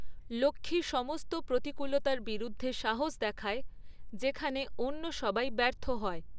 লক্ষ্মী সমস্ত প্রতিকূলতার বিরুদ্ধে সাহস দেখায় যেখানে অন্য সবাই ব্যর্থ হয়।